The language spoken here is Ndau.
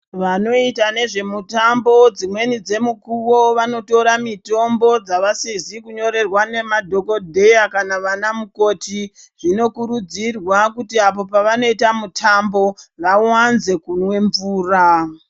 Vanoita nezvemutambo dzimweni dzemukuwo vanotora mitombo dzavasizi kunyorerwa nemadhokodheya kana vana mukoti zvinokurudzirwa kuti apo pavanoita mutambo vawanze kunwa mvura.